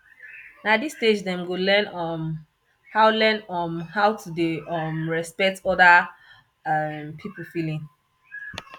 na dis stage dem go learn um how learn um how to dey um respect oda um pipo feeling